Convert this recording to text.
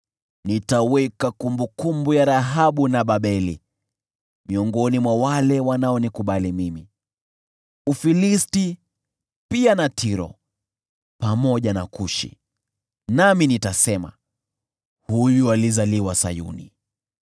“Nitaweka kumbukumbu ya Rahabu na Babeli miongoni mwa wale wanaonikubali mimi: Ufilisti pia na Tiro, pamoja na Kushi, nami nitasema, ‘Huyu alizaliwa Sayuni.’ ”